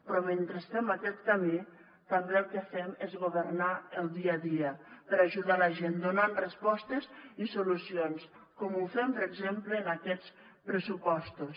però mentre fem aquest camí també el que fem és governar el dia a dia per ajudar la gent donant respostes i solucions com ho fem per exemple en aquests pressupostos